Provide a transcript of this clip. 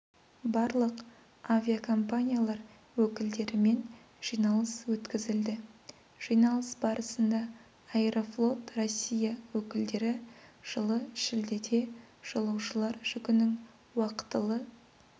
барлық авиакомпаниялар өкілдерімен жиналыс өткізілді жиналыс барысында аэрофлот россия өкілдері жылы шілдеде жолаушылар жүгінің уақытылы